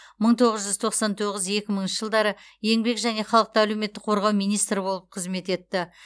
мың тоғыз жүз тоқсан тоғыз екі мыңыншы жылдары еңбек және халықты әлеуметтік қорғау министрі болып қызмет етті